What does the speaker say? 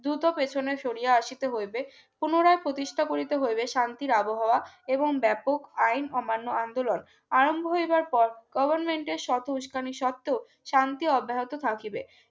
দুটো পিছনে শরিয়া আসিতে হইবে পুনরায় প্রতিষ্ঠা করিতে হইবে শান্তির আবহাওয়া এবং ব্যাপক আইন অমান্য আন্দোলন আরম্ভ হইবার পর government এর শত উস্কানি সত্ত্বেও শান্তি অব্যাহিত থাকিবে